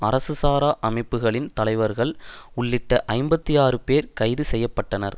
அரசு சாரா அமைப்புகளின் தலைவர்கள் உள்ளிட்ட ஐம்பத்தாறு பேர் கைது செய்ய பட்டனர்